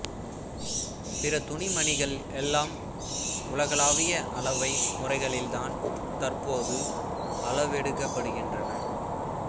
பிற துணிமணிகள் எல்லாம் உலகளாவிய அளவை முறைகளில் தான் தற்போது அளவெடுக்கப்படுகின்றன